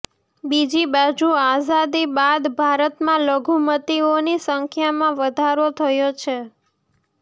બીજી બાજુ આઝાદી બાદ ભારતમાં લઘુમતીઓની સંખ્યામાં વધારો થયો છે